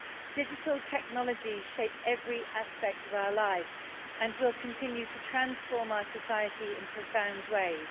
Digital technology shapes every aspect of our lives and will continue to transform our society in profound ways.